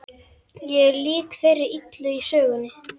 Ég er lík þeirri illu í sögunum.